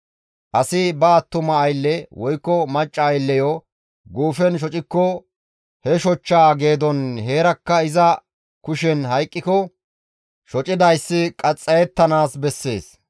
«Asi ba attuma aylle woykko macca aylleyo guufen shocikko he shochchaa geedon heerakka iza kushen hayqqiko shocidayssi qaxxayettanaas bessees.